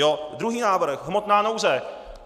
Jo, druhý návrh - hmotná nouze.